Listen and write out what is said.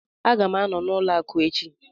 Aga m anọ n'ụlọ akụ echi